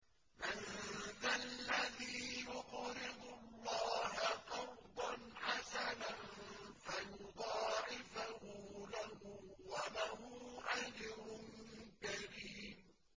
مَّن ذَا الَّذِي يُقْرِضُ اللَّهَ قَرْضًا حَسَنًا فَيُضَاعِفَهُ لَهُ وَلَهُ أَجْرٌ كَرِيمٌ